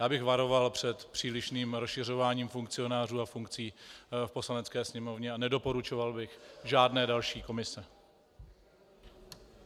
Já bych varoval před přílišným rozšiřováním funkcionářů a funkcí v Poslanecké sněmovně a nedoporučoval bych žádné další komise.